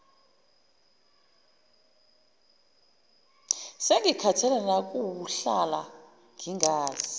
sengikhathele nawukuhlala ngingazi